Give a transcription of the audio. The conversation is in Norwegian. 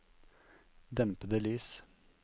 dempede lys